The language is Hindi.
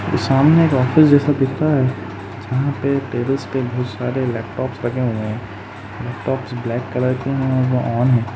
सामने एक ऑफिस जैसा दिख रहा है जहा पे टेबल्स पे बहोत सारे लपटॉप्स रखे हुए हैं। लपटॉप्स ब्लैक कलर के है और वो ऑन है।